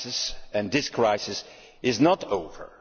The crisis and this crisis is not over.